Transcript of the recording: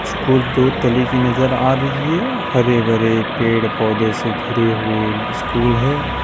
School दो तली की नजर आ रही है हरे भरे पेड़ पौधे से घिरे हुए स्कूल है।